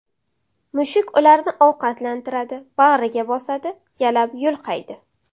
Mushuk ularni ovqatlantiradi, bag‘riga bosadi, yalab-yulqaydi.